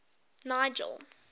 nigel